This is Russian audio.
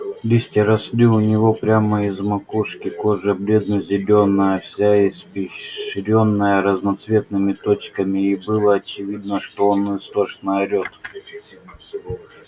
листья росли у него прямо из макушки кожа бледно-зелёная вся испещрённая разноцветными точками и было очевидно что он истошно орет